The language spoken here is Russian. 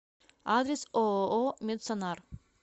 адрес ооо медсонар